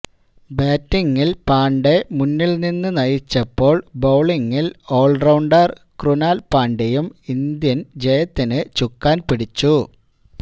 ബാറ്റിങില് പാണ്ഡെ മുന്നില് നിന്നു നയിച്ചപ്പോള് ബൌളിങില് ഓള്റൌണ്ടര് ക്രുനാല് പാണ്ഡ്യയും ഇന്ത്യന് ജയത്തിനു ചുക്കാന് പിടിച്ചു